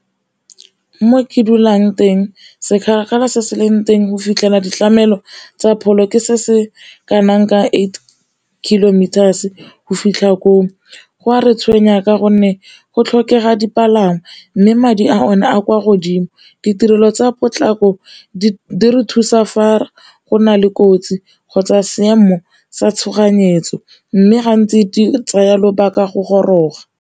Mo ke dulang teng se se leng teng go fitlhela ditlamelo tsa pholo ke se se kanang ka eight kilometers go fitlha ko, go a re tshwenya ka gonne go tlhokega dipalangwa mme madi a o ne a kwa godimo, ditirelo tsa potlako di re thusa fa go na le kotsi kgotsa seemo sa tshoganyetso, mme gantsi di tsaya lobaka go goroga.